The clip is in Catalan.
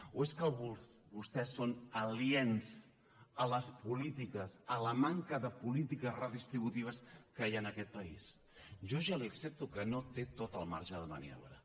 o és que vostès són aliens a la manca de polítiques redistributives que hi ha en aquest país jo ja li accepto que no té tot el marge de maniobra